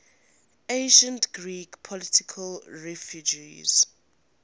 ancient greek political refugees